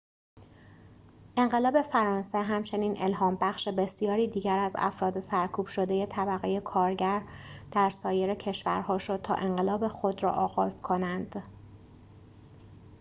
انقلاب فرانسه همچنین الهام‌بخش بسیاری دیگر از افراد سرکوب‌شده طبقه کارگر در سایر کشورها شد تا انقلاب خود را آغاز کنند